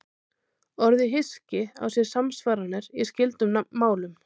Orðið hyski á sér samsvaranir í skyldum málum.